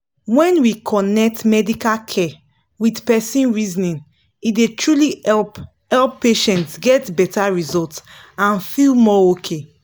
when we connect medical care with person reasoning e dey truly help help patients get better result and feel more okay.